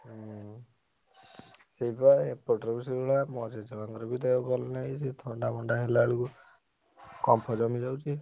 ହୁଁ ସେଇବା ଏପଟରେ ବି ସେଇଭଳିଆ ମୋ ଜେଜେମାଆଙ୍କର ବି ଦେହ ଭଲ ନାହିଁ ସେଇ ଥଣ୍ଡା ମଣ୍ଡା ହେଲାବେଳକୁ କଫ ଜମିଯାଉଛି।